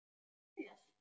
Auk þess.